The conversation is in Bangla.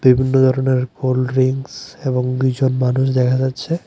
ধরনের কোল্ড ড্রিংকস এবং দুইজন মানুষ দেখা যাচ্ছে।